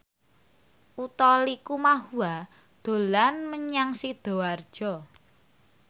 Utha Likumahua dolan menyang Sidoarjo